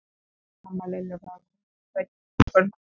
Amma Lillu var komin til að sækja hana í kvöldmat.